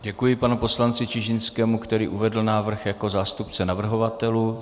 Děkuji panu poslanci Čižinskému, který uvedl návrh jako zástupce navrhovatelů.